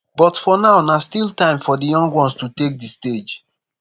but for now na still time for di young ones to take di stage